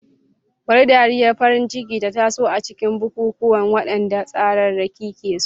Bari dariyar farin ciki ta taso a cikin bukukuwan, waɗanda tsararraki ke so.